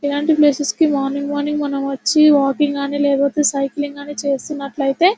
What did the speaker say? ఇలాంటి ప్లేసెస్ కి morning morning వచ్చి వాకింగ్ అని లేకపోతే సైక్లింగ్ గాని చేస్తున్నట్లయితే--